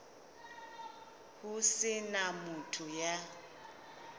ho se na motho ya